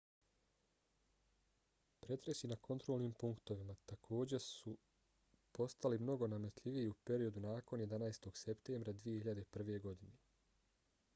pretresi na kontrolnim punktovima takođe su postali mnogo nametljiviji u periodu nakon 11. septembra 2001. godine